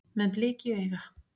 Með blik í auga